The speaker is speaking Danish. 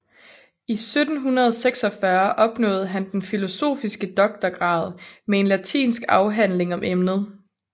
I 1746 opnåede han den filosofiske doktorgrad med en latinsk afhandling om emnet